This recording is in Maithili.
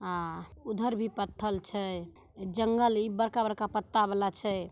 आ उधर भी पथल छै जंगल इ बड़का-बड़का पत्ता वला छै।